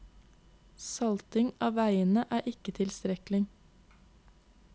Salting av veiene er ikke tilstrekkelig.